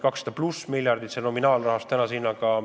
200+ miljardit – see on nominaalväärtuses tänaste hindade juures.